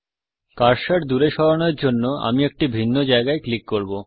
cursor দূরে সরানোর জন্য আমি একটি ভিন্ন জায়গায় টিপব